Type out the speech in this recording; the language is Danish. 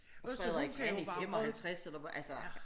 Og Frederik han er 55 eller hvor altså